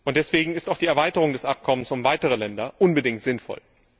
Deswegen ist auch die Erweiterung des Übereinkommens um weitere Länder unbedingt sinnvoll.